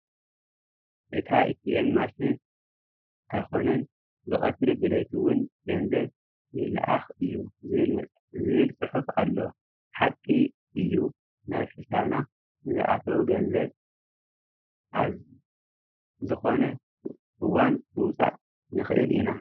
ኣብ ልዕሊ እታ ኤቲኤም ማሽን ኣይኮነን ብቐትሪ ብለይቲ እውን ገንዘብ ይለኣኽ እዩ ዝብል ፅሑፍ ኣሎ፡፡ ሓቂ እዮ ናብ ሒሳብና ንዝኣተው ገንዘብ ኣዝ ዝኾነ እዋን ምውፃእ ንኽእል ኢና፡፡